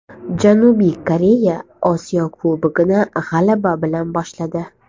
Janubiy Koreya Osiyo Kubogini g‘alaba bilan boshladi .